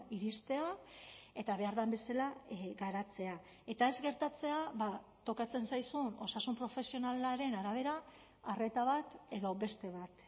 iristea eta behar den bezala garatzea eta ez gertatzea tokatzen zaizun osasun profesionalaren arabera arreta bat edo beste bat